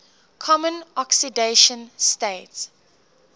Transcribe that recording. common oxidation state